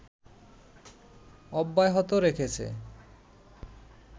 অব্যাহত রেখেছে